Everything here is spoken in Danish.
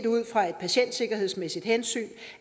ud fra et patientsikkerhedsmæssigt hensyn